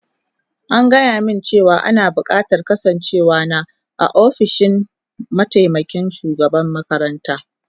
An gaya mini cewa ana bukatar kasancewar na a ofishin mataimakin shugaban makaranta